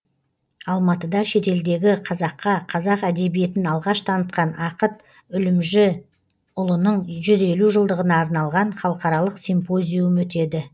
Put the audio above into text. алматыда шетелдегі қазаққа қазақ әдебиетін алғаш танытқан ақыт үлімжіұлының жүз елу жылдығына арналған халықаралық симпозиум өтеді